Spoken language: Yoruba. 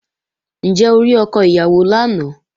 Ǹjẹ́ o rí ọkọ ìyàwó lánàá?